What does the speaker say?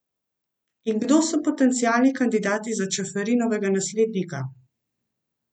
In kdo so potencialni kandidati za Čeferinovega naslednika?